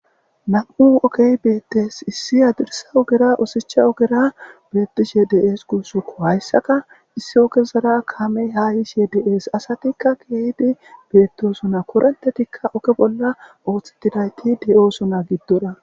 nam7u okey beettes issi adirsa ogera osicha ogera beettishe de7ees kuusuko hayssaka issi ogezara kame haa yishe deees asatikka keeydi beettosona korontetikka oke bolla ooththettidayti de7oosona giddora